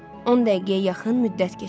10 dəqiqəyə yaxın müddət keçdi.